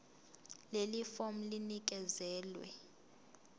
leli fomu linikezelwe